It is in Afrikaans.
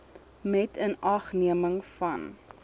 met inagneming van